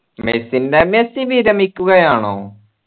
മെസ്സിന്റെ Messi വിരമിക്കുകയാണോ